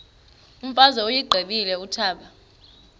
imfazwe uyiqibile utshaba